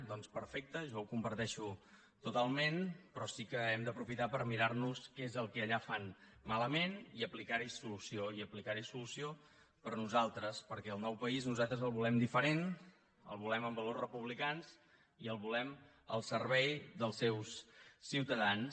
doncs perfecte jo ho comparteixo totalment però sí que hem d’aprofitar per mirar nos què és el que allà fan malament i aplicar hi solució i aplicar hi solució per a nosaltres perquè el nou país nosaltres el volem diferent el volem amb valors republicans i el volem al servei dels seus ciutadans